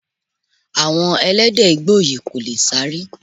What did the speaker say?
Àwọn Ẹlẹ́dẹ̀ Igbó yìí kò lè sáré.